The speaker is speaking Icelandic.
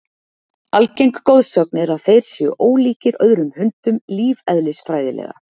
Algeng goðsögn er að þeir séu ólíkir öðrum hundum lífeðlisfræðilega.